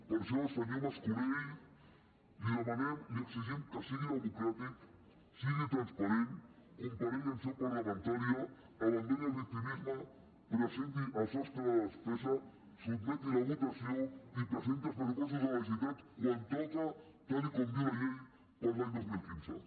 per això senyor mas colell li demanem li exigim que sigui democràtic sigui transparent comparegui en seu parlamentària abandoni el victimisme presenti el sostre de despesa sotmeti la votació i presenti els pressupostos de la generalitat quan toca tal com diu la llei per a l’any dos mil quinze